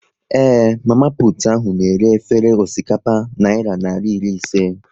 Ee, mama putu ahu na-ere efere osikapa naira narị iri ise